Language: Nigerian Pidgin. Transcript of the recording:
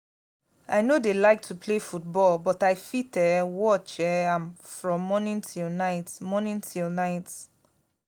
i no dey like to play football but i fit um watch um am from morning till night morning till night